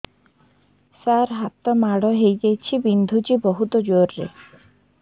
ସାର ହାତ ମାଡ଼ ହେଇଯାଇଛି ବିନ୍ଧୁଛି ବହୁତ ଜୋରରେ